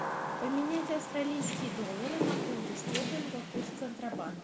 поменять австралийские доллары на фунты стерлингов курс центробанк